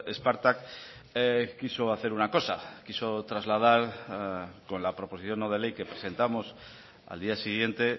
spartak quiso hacer una cosa quiso trasladar con la proposición no de ley que presentamos al día siguiente